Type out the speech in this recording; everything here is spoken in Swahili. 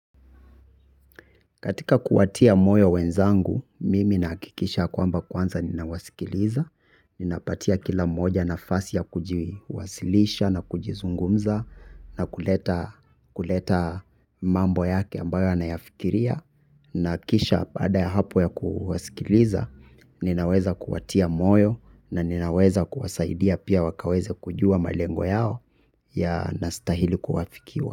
Katika kuwatia moyo wenzangu, mimi nahakikisha kwamba kwanza ninawasikiliza, ninapatia kila mmoja nafasi ya kujiwasilisha na kujizungumza na kuleta mambo yake ambayo anayafikiria, na kisha baada ya hapo ya kuwasikiliza, ninaweza kuwatia moyo na ninaweza kuwasaidia pia wakaweze kujua malengo yao yanastahili kuwafikiwa.